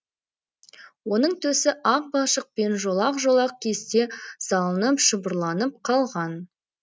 оның төсі ақ балшықпен жолақ жолақ кесте салынып шұбырланып қалған